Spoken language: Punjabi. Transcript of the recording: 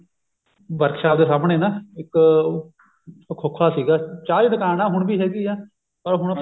workshop ਦੇ ਸਾਹਮਣੇ ਇੱਕ ਖੋਖਾ ਸੀਗਾ ਚਾਹ ਦੀ ਦੁਕਾਨ ਆ ਹੁਣ ਵੀ ਹੈਗੀ ਆ ਉਹ ਹੁਣ